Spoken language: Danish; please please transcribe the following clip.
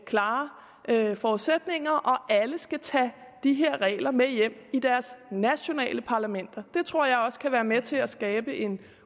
klare forudsætninger og alle skal tage de her regler med hjem i deres nationale parlamenter det tror jeg også kan være med til at skabe en